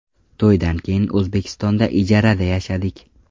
To‘ydan keyin O‘zbekistonda ijarada yashadik.